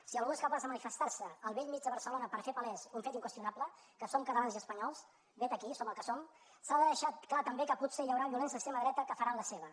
si algú és capaç de manifestar se al bell mig de barcelona per fer palès un fet inqüestionable que som catalans i espanyols vet aquí som el que som s’ha de deixar clar també que potser hi haurà violents d’extrema dreta que faran la seva